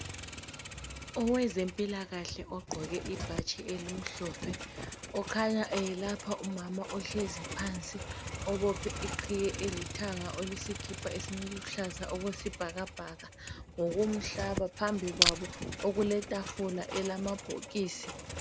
Owezempilakahle ogqoke ibhatshi elimhlophe ukhanya eyelapha umama ohlezi phansi obophe iqhiye elithanga oleskipa esiluhlaza okwesibhakabhaka ngokumhlaba phambi kwabo kuletafula elamabhokisi